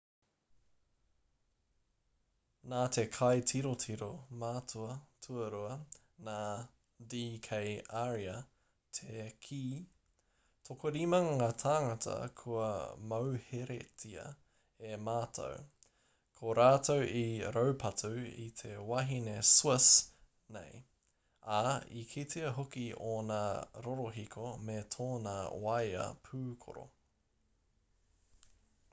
nā te kaitirotiro mātua tuarua nā d k arya te kī tokorima ngā tāngata kua mauheretia e mātou ko rātou i raupatu i te wahine swiss nei ā i kitea hoki ōna rorohiko me tōna waea pūkoro